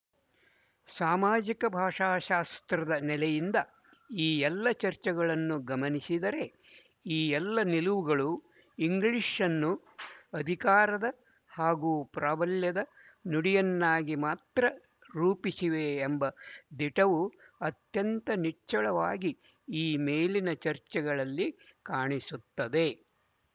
ಸಾಮಾಜಿಕ ಭಾಷಾಶಾಸ್ತ್ರದ ನೆಲೆಯಿಂದ ಈ ಎಲ್ಲ ಚರ್ಚೆಗಳನ್ನು ಗಮನಿಸಿದರೆ ಈ ಎಲ್ಲ ನಿಲುವುಗಳು ಇಂಗ್ಲಿಶ್‌ನ್ನು ಅಧಿಕಾರದ ಹಾಗೂ ಪ್ರಾಬಲ್ಯದ ನುಡಿಯನ್ನಾಗಿ ಮಾತ್ರ ರೂಪಿಸಿವೆ ಎಂಬ ದಿಟವು ಅತ್ಯಂತ ನಿಚ್ಚಳವಾಗಿ ಈ ಮೇಲಿನ ಚರ್ಚೆಗಳಲ್ಲಿ ಕಾಣಿಸುತ್ತದೆ